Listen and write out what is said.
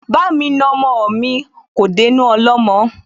Bá mi na ọmọ mi, kò dénú ọlọ́mọ